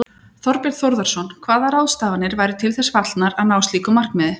Þorbjörn Þórðarson: Hvaða ráðstafanir væru til þess fallnar að ná slíku markmiði?